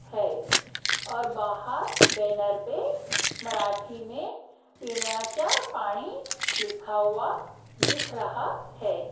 है और बाहर बैनर पे मराठी में पीण्याचा पानी लिखा हुआ दिख रहा है।